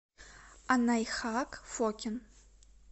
анайхак фокин